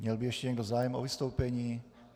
Měl by ještě někdo zájem o vystoupení?